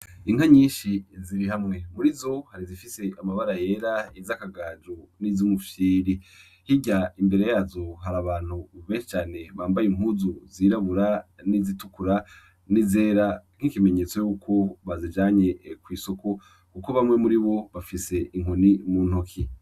Inka nyinshi ziri hamwe muri zo hari zifise amabara yera izi akagaju n'iziumufyiri hirya imbere yazo hari abantu ubehecane bambaye impuzu zirabura n'izitukura n'izera nk'ikimenyetso yuko bazijanye kw'isoko, kuko bamwe muri bo bafise inkoni mu ntoki.